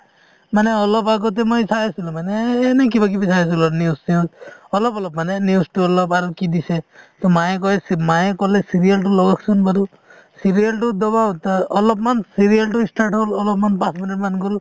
মানে অলপ আগতে মই চাই আছিলো মানে এনে কিবাকিবি চাই আছিলো news চিউজ অলপ অলপ মানে news তো অলপ আৰু কি দিছে to মায়ে কই মায়ে ক'লে serial তো লগাওক চোন বাৰু serial তো অ অলপমান serial তো ই start হ'ব অলপমান বাকি মানে line গ'ল